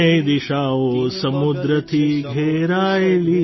ત્રણેય દિશાઓ સમુદ્રથી ઘેરાયેલી